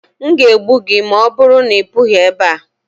N ga egbu gi, ma ọbụrụ na-I pughi ebea.